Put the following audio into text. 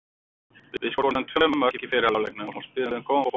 Við skoruðum tvö mörk í fyrri hálfleiknum og spiluðum góðan fótbolta.